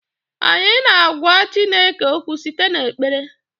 anyị na-agwa Chineke okwu site n'ekpere